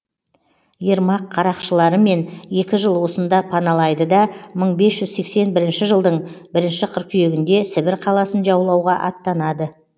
ермак қарақшыларымен екі жыл осында паналайды да мың бес жүз сексен бірінші жылдың бірінші қыркүйегінде сібір қаласын жаулауға аттанады